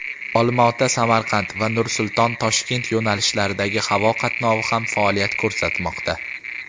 "Olmaota-Samarqand" va "Nur-Sulton - Toshkent" yo‘nalishlaridagi havo qatnovi ham faoliyat ko‘rsatmoqda.